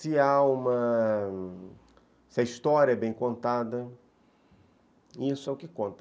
se há uma... se a história é bem contada, isso é o que conta.